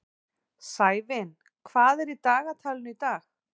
Sævin, hvað er í dagatalinu í dag?